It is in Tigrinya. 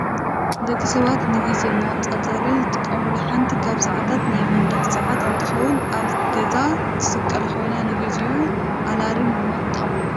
ደቂ ሰባት ንግዜ መቆፃፀሪ ዝጥቀሙሉ ሓንቲ ካብ ሰዓታት ናይ መንደቅ ሰዓት እንትከውን ኣብ ገዛ ትስቀል ኮይና ንግዜን ኣላርምን ድማ ትጠቅመና።